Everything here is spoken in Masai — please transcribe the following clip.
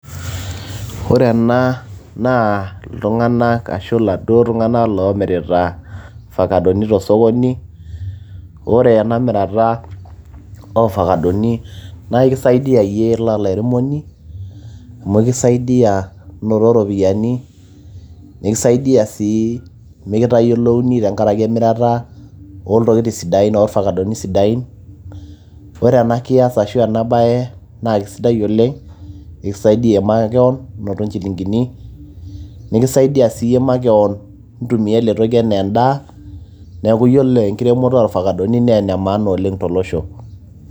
ore ena naa iltung'anak ashu iladuo tung'anak loomirita fakadoni tosokoni ore ena mirata oofakadoni naa ikisaidiyia yie ira olairemoni amu ikisaidiyia inoto iropiyiani nekisaidia sii mekitayiolouni tenkarake emirata oltokitin sidain orfakadoni sidain ore ena kias ashu ena baye naa kisidai oleng ekisaidia makewon inoto inchilingini nikisaidia siiyie makewon intumia ele toki enaa endaa neeku yiolo enkiremoto orfakadoni naa ene maana oleng tolosho.